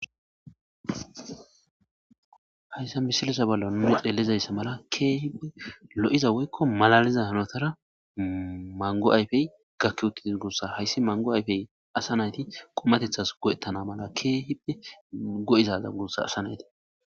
hayssa misilisa ballo nuni xeelizayssa mala keehi lo7iza woykko malaliza hanotara mango ayfey gakki uttidis gussa hayssi mango ayfey asa nayti qomatethas go7ettana mala keehipe go7izaza gussa asa nayti